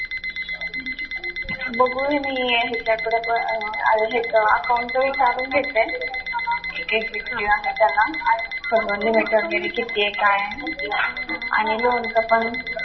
बघू मी ह्याच्याकडे पण अं हे पण account चं विचारून घेते की किती fee आहे त्याला limit वैगरे किती आहे काय आहे आणि loan चं पण